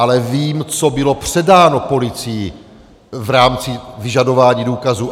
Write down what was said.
Ale vím, co bylo předáno policii v rámci vyžadování důkazů.